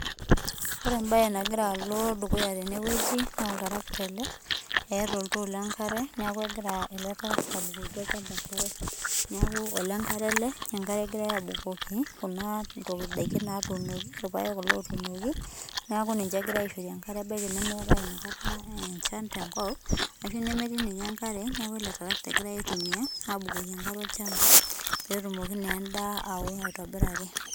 Ore ebae nagira alo dukuya tenewueji, naa oltarakita ele, eeta oltoo lenkare neeku egira ele tarakita abukoki olchamba enkare. Neeku olenkare ele, enkare egirai abukoki kuna daikin natuunoki. Irpaek kulo otuunoki, neeku ninche egirai aishore enkare ebaiki nemeetae inakata enchan tenkop, ashu nemetii ninye enkare, neeku ele tarakita egirai aitumia abukoki enkare olchamba petumoki nendaa ao aitobiraki.